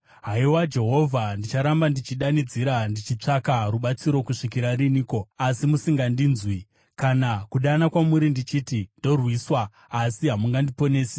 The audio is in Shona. Haiwa Jehovha, ndicharamba ndichidanidzira, ndichitsvaka rubatsiro kusvikira riniko, asi musingandinzwi? Kana kudana kwamuri ndichiti, “Ndorwiswa!” asi hamundiponesi?